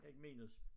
Ikke minus